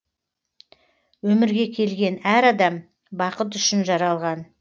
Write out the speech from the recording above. өмірге келген әр адам бақыт үшін жаралған